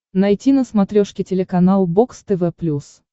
найти на смотрешке телеканал бокс тв плюс